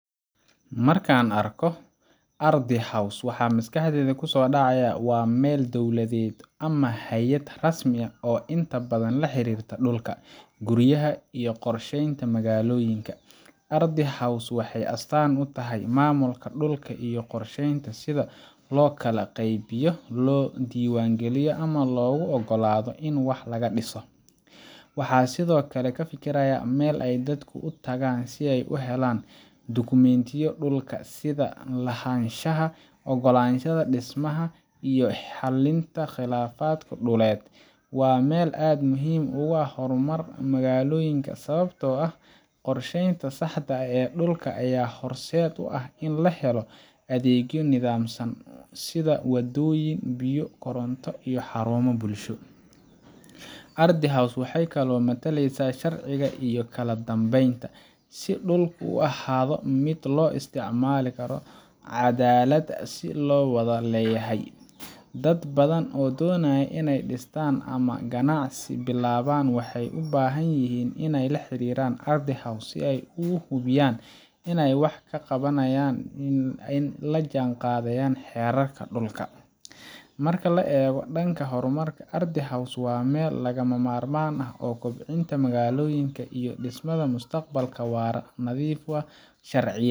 Marka aan arko Ardhi House, waxa maskaxdayda ku soo dhacaya waa meel dowladeed ama hay’ad rasmi ah oo inta badan la xiriirta dhulka, guryaha, iyo qorsheynta magaalooyinka. Ardhi House waxay astaan u tahay maamulka dhulka iyo qorshaynta sida loo kala qaybiyo, loo diiwaangeliyo, ama loogu oggolaado in wax laga dhiso. Waxaan sidoo kale ka fikirayaa meel ay dadku u tagaan si ay u helaan dukumiintiyada dhulka, sida lahaanshaha, oggolaanshaha dhismaha, iyo xalinta khilaafaadka dhuleed. Waa meel aad muhiim ugu ah horumarka magaalooyinka, sababtoo ah qorsheynta saxda ah ee dhulka ayaa horseed u ah in la helo adeegyo nidaamsan sida waddooyin, biyo, koronto, iyo xarumo bulsho. Ardhi House waxay kaloo mataleysaa sharciga iyo kala dambeynta si dhulku u ahaado mid loo isticmaalo si caddaalad ah oo la wada leeyahay. Dad badan oo doonaya inay dhistaan ama ganacsi bilaabaan waxay u baahan yihiin inay la xiriiraan Ardhi House si ay u hubiyaan in waxa ay qabanayaan ay la jaanqaadayaan xeerarka dhulka. Marka la eego dhanka horumarka, Ardhi House waa meel lagama maarmaan u ah kobcinta magaalooyinka iyo dhismaha mustaqbal waara oo nadiif ah, sharciyey